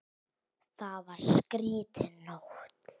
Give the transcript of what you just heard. Það var skrýtin nótt.